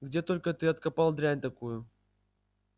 где только ты откопал дрянь такую